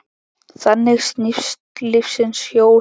Þannig snýst lífsins hjól.